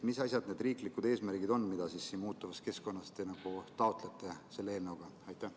Mis asjad need riiklikud eesmärgid on, mida te muutuvas keskkonnas selle eelnõuga taotlete?